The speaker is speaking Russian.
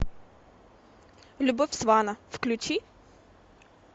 любовь свана включи